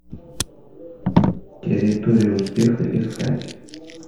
территория успеха искать